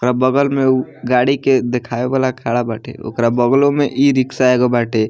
ओकरा बगल में उ गाड़ी के देखावे वाला खड़ा बाटे ओकरा बगलो में ई-रिक्शा एगो बाटे।